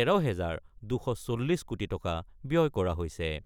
১৩ হাজাৰ ২৪০ কোটি টকা ব্যয় কৰা হৈছে।